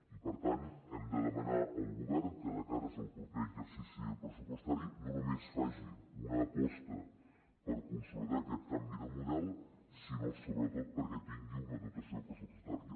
i per tant hem de demanar al govern que de cara al proper exercici pressupostari no només faci una aposta per consolidar aquest canvi de model sinó sobretot perquè tingui una dotació pressupostària